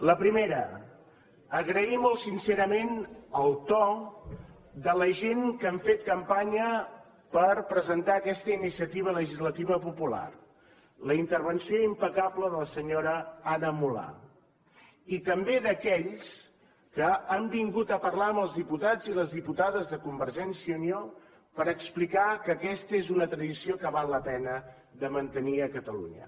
la primera agrair molt sincerament el to de la gent que han fet campanya per presentar aquesta iniciativa legislativa popular la intervenció impecable de la senyora anna mulà i també d’aquells que han vingut a parlar amb els diputats i les diputades de convergència i unió per explicar que aquesta és una tradició que val la pena de mantenir a catalunya